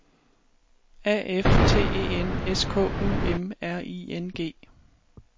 A F T E N S K U M R I N G